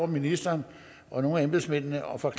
ministeren og nogle af embedsmændene over for